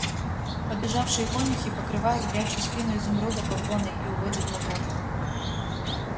подбежавшие конюхи покрывают горячую спину изумруда попоной и уводят на двор